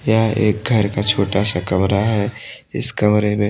यह एक घर का छोटा सा कमरा है। इस कमरे में--